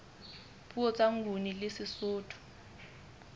puo tsa nguni le sesotho